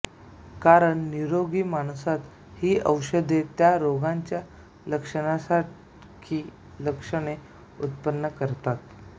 कारण निरोगी माणसात ही औषधे त्या रोग्यांच्या लक्षणासारखी लक्षणे उत्पन्न करतात